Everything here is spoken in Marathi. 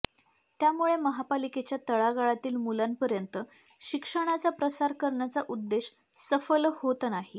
त्यामुळे महापालिकेच्या तळागाळातील मुलांपर्यंत शिक्षणाचा प्रसार करण्याचा उद्देश सफल होत नाही